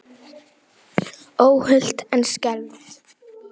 Óhult en skelfd.